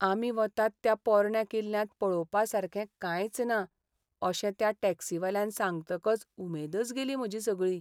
आमी वतात त्या पोरण्या किल्ल्यांत पळोवपा सारकें कांयच ना अशें त्या टॅक्सीवाल्यान सांगतकच उमेदच गेली म्हजी सगळी.